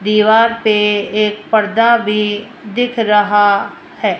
दीवार पे एक पर्दा भी दिख रहा है।